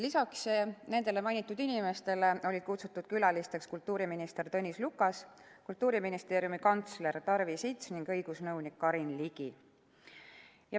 Lisaks mainitud inimestele olid külalistena kohale kutsutud kultuuriminister Tõnis Lukas, Kultuuriministeeriumi kantsler Tarvi Sits ning õigusnõunik Karin Ligi.